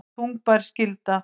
Þungbær skylda